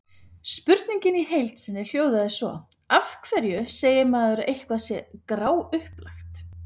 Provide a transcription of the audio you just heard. Spurningin í heild sinni hljóðaði svo: Af hverju segir maður að eitthvað sé gráupplagt?